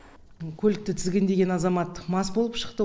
көлікті тізгіндеген азамат мас болып шықты